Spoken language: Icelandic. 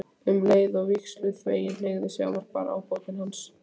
Um leið og vígsluþeginn hneigir sig ávarpar ábótinn hann